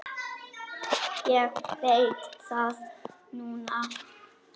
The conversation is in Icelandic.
Ég veit það núna.